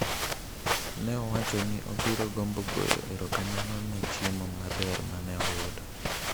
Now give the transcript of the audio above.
Ne owacho ni obiro gombo goyo erokamano ne chiemo maber ma ne oyudo.